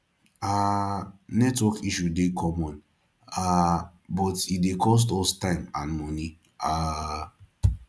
um network issue dey common um but e dey cost us time and money um